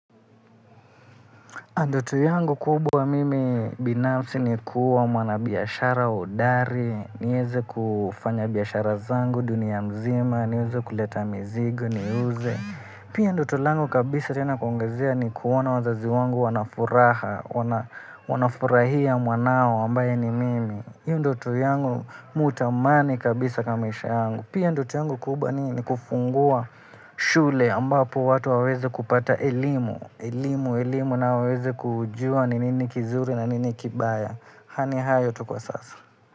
Ndoto yangu kubwa mimi binafsi ni kuwa mwana biashara hodari, niweze kufanya biashara zangu, dunia mzima, niweze kuleta mizigo, niuze. Pia ndoto langu kabisa tena kuongezea ni kuona wazazi wangu wanafuraha, wanafurahia mwanao ambaye ni mimi. Hio ndoto yangu mimi hutamani kabisa kwa maisha yangu. Pia ndoto yangu kubwa ni kufungua shule ambapo watu waweze kupata elimu, elimu elimu na waweze kujua ni nini kizuri na nini kibaya ni hayo tu kwa sasa.